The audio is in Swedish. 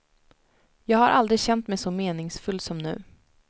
Jag har aldrig känt mig så meningsfull som nu.